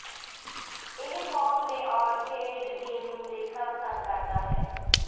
ਇਹ ਪੌਂਗ ਦੇ arcade game ਨੂੰ ਦੇਖਣਾ ਪਸੰਦ ਕਰਦਾ ਹੈ